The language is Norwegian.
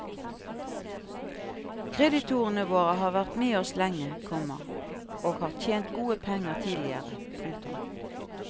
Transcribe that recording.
Kreditorene våre har vært med oss lenge, komma og har tjent gode penger tidligere. punktum